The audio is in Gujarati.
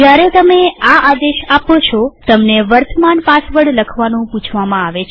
જયારે તમે આ આદેશ આપો છો તમને વર્તમાન પાસવર્ડ લખવાનું પૂછવામાં આવે છે